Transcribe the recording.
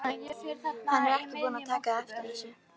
Hann er ekki búinn að taka eftir þessu.